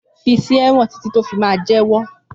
Físẹ wọn titi tó mà fí jẹwọ!